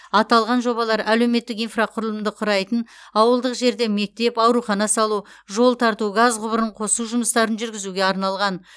аталған жобалар әлеуметтік инфрақұрылымды құрайтын ауылдық жерде мектеп аурухана салу жол тарту газ құбырын қосу жұмыстарын жүргізуге арналған